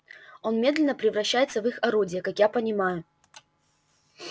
он медленно превращается в их орудие как я понимаю